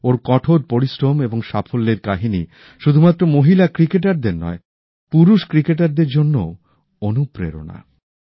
ওঁর কঠোর পরিশ্রম এবং সাফল্যের কাহিনী শুধুমাত্র মহিলা ক্রিকেটারদের নয় পুরুষ ক্রিকেটারদের জন্যও অনুপ্রেরণা